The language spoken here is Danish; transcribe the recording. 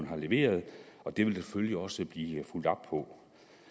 har leveret og det vil der selvfølgelig også blive fulgt op på